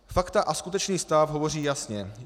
Fakta a skutečný stav hovoří jasně.